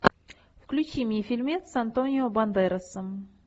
включи мне фильмец с антонио бандерасом